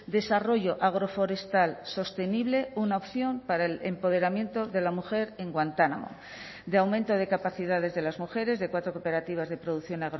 desarrollo agroforestal sostenible una opción para el empoderamiento de la mujer en guantánamo de aumento de capacidades de las mujeres de cuatro cooperativas de producción